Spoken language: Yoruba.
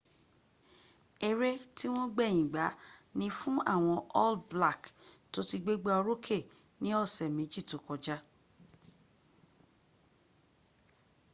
ere ti wọn gbẹyin gba ni fun awọn all black to ti gbegba oroke ni ọsẹ meji to kọja